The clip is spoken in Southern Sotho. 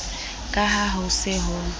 ka ha ho se ho